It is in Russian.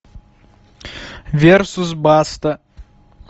версус баста